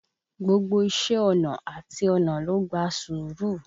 Gbogbo iṣé ọnà àti ọnà ló gba sùúrù.